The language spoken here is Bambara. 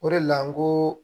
O de la n ko